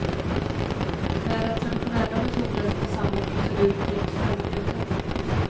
Med den traditionella metoden tar samma procedur drygt fem minuter.